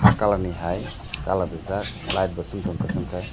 ah colour ni hai colour rijak light bo chwng tongo kwchwngkhe.